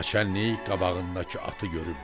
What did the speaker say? Naçallnik qabağındakı atı görüb dedi: